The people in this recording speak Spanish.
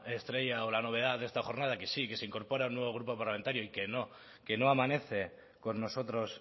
estrella o la novedad de esta jornada que sí que se incorpora un nuevo grupo parlamentario y que no que no amanece con nosotros